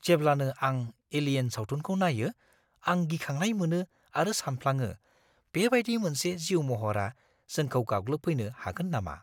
जेब्लानो आं "एलियेन" सावथुनखौ नायो, आं गिखांनाय मोनो आरो सानफ्लाङो बेबायदि मोनसे जिउ महरा जोंखौ गाग्लोबफैनो हागोन नामा?